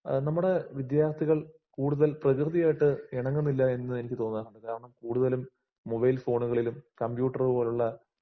എഹ് നമ്മുടെ വിദ്യാർത്ഥികൾ കൂടുതൽ പ്രകൃതിയായിട്ട് ഇണങ്ങുന്നില്ലാ എന്ന്എനിക്ക് തോന്നാറുണ്ട് .കൂടുതലും മൊബൈൽഫോണുകളിലും, കംപ്യൂട്ടറ്പോലുള്ള